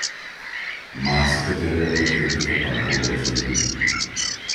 Marsikaterega petletnika pa ne bo več zadovoljil.